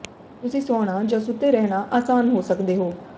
ਤੁਸੀਂ ਸੌਣਾ ਜਾਂ ਸੁੱਤੇ ਰਹਿਣਾ ਆਸਾਨ ਹੋ ਸਕਦੇ ਹੋ